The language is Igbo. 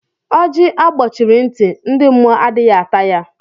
Ọjị a gbochiri ntị, ndị mmụọ adịghị ata ya.